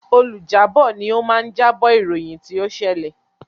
Olùjábọ̀ ni o máa ń jábọ̀ ìròyìn tí o ṣẹlẹ̀.